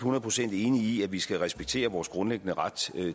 hundrede procent enig i at vi skal respektere vores grundlæggende ret